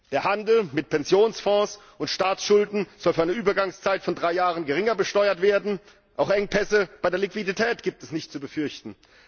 Der Handel mit Pensionsfonds und Staatsschulden soll für eine Übergangszeit von drei Jahren geringer besteuert werden, auch Engpässe bei der Liquidität gibt es nicht zu befürchten.